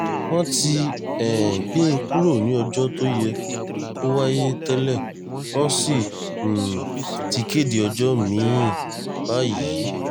wọ́n ti um gbé e kúrò ní ọjọ́ tó yẹ kó wáyé tẹ́lẹ̀ wọ́n sì um ti kéde ọjọ́ mi-ín báyìí